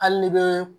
Hali ne bɛ